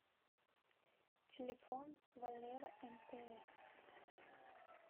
телефон валера мтс